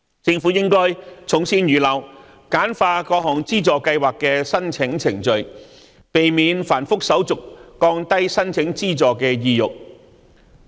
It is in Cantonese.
政府應該從善如流，簡化各項資助計劃的申請程序，避免繁複手續降低申請資助的意欲。